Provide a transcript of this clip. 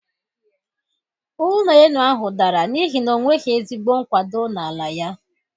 Ụlọ elu ahụ dara n'ihi na onweghi ezigbo nkwado na ala ya.